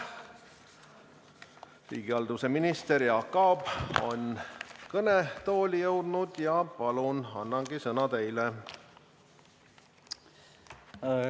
Riigihalduse minister Jaak Aab on kõnetooli jõudnud ja palun, annangi sõna teile!